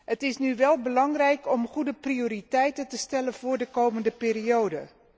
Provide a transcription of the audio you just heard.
Het is nu wel belangrijk om goede prioriteiten te stellen voor de komende periode.